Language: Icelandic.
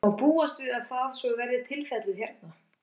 Má búast við að það, svo verði tilfellið hérna?